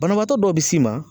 Banabaatɔ dɔw bi s'i ma